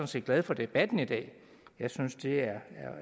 set glad for debatten i dag jeg synes det